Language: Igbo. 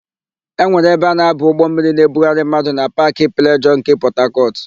E nwere ebe a na-aba ụgbọmmiri na-ebugharị mmadụ na Paakị Plejọọ nke Pọtakọtụ.